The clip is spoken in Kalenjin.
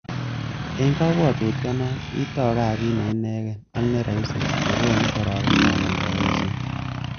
En kobwotutioni, itou kasit neineken ak ne roisi, nekonu kororonindab oldoisiet.